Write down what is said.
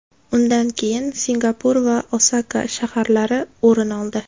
Undan keyin Singapur va Osaka shaharlari o‘rin oldi.